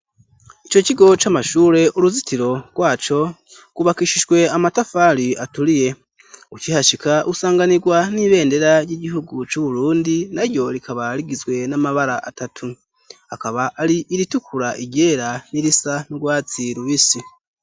Ico kigo c'amashure, uruzitiro rwaco rw'ubakishijwe amatafari aturiye. Ukihashika usanganirwa n'ibendera ry'igihugu c'Uburundi, na ryo rikaba rigizwe n'amabara atatu. Akaba ari iritukura, iryera, n'irisa n'urwatsi rubisi.